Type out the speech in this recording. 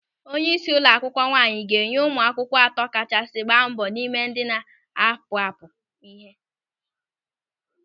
Onyeisi ụlọ akwụkwọ nwaanyị ga-enye ụmụ akwụkwọ atọ kachasị gbaa mbọ n'ime ndị na-apụapụ ịhe.